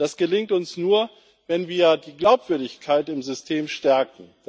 Das gelingt uns nur, wenn wir die Glaubwürdigkeit im System stärken.